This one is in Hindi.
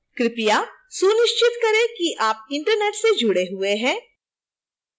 कृपया सुनिश्चित करें कि आप internet से जुड़े हुए हैं